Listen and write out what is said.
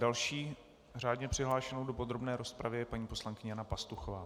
Další řádně přihlášenou do podrobné rozpravy je paní poslankyně Jana Pastuchová.